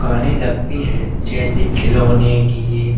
दुकाने लगती हैं जैसे खिलोने की।